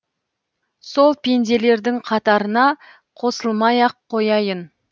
сол пенделердің қатарына қосылмай ақ қояйын